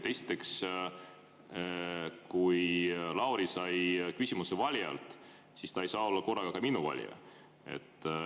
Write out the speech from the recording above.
Esiteks, kui Lauri sai küsimuse valijalt, siis ta ei saa olla korraga ka minu valija.